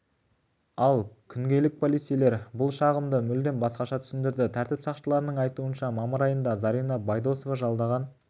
ал күнгейлік полицейлер бұл жағдайды мүлдем басқаша түсіндірді тәртіп сақшыларының айтуынша мамыр айында зарина байдосова жалдаған